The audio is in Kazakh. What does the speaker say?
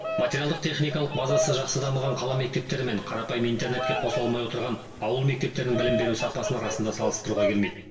материалдық техникалық базасы жақсы дамыған қала мектептері мен қарапайым интернетке қосыла алмай отырған ауыл мектептерінің білім беру сапасын расында салыстыруға келмейді